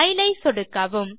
file ஐ சொடுக்கவும்